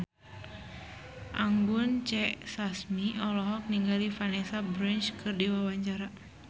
Anggun C. Sasmi olohok ningali Vanessa Branch keur diwawancara